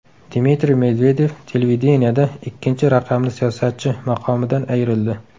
Dmitriy Medvedev televideniyeda ikkinchi raqamli siyosatchi maqomidan ayrildi.